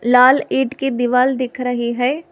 लाल ईंट की दीवाल दिख रही है।